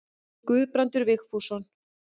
Guðbrandur Vigfússon.